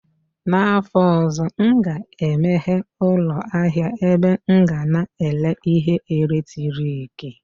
N'afọ ọzọ, m ga-emeghe ụlọ ahịa ebe m ga na-ere ihe ọkụ eletrik